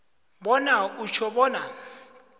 bona utjho bona